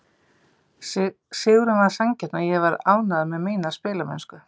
Sigurinn var sanngjarn og ég var ánægður með mína spilamennsku.